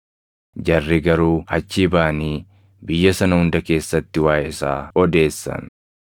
Jarri garuu achii baʼanii biyya sana hunda keessatti waaʼee isaa odeessan.